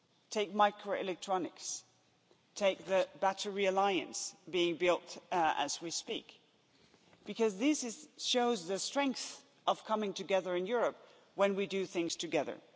Take microelectronics, take the Battery Alliance being built as we speak, because this shows the strength of coming together in Europe when we do things together.